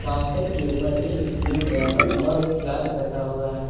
Counter के ऊपर एक स्क्रूड्राइवर और एक पिलास रखा हुआ है।